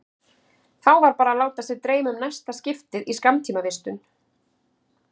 Þá var bara að láta sig dreyma um næsta skiptið í skammtímavistun.